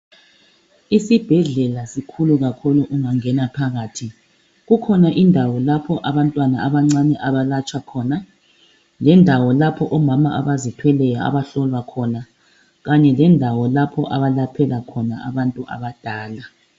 Isibhedlela sikhulu kakhulu ungangena phakathi, kukhona indawo lapha abantwana abancane abalatshwa khona lendawo lapho omama abanengi abazithweleyo abahlolwa khona kanye lendawo lapho abalaphela khona abantu abadala.